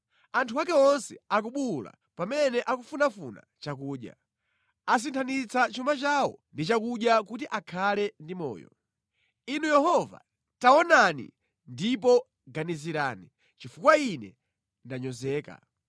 Anthu ake onse akubuwula pamene akufunafuna chakudya; asinthanitsa chuma chawo ndi chakudya kuti akhale ndi moyo. “Inu Yehova, taonani ndipo ganizirani, chifukwa ine ndanyozeka.”